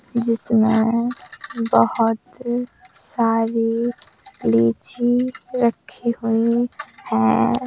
जिसमें बहुत सारी लीची रखी हुई हैं।